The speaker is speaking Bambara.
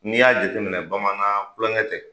N'i y'a jate minɛ bamanan kulonkɛ tɛ.